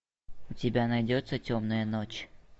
у тебя найдется темная ночь